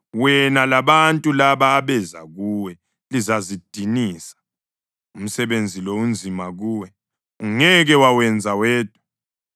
Wena labantu laba abeza kuwe lizazidinisa. Umsebenzi lo unzima kuwe: ungeke wawenza wedwa.